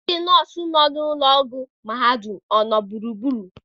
ndị nọọsụ nọ na ụlọ ọgwụ mahadum nọ gburugburu?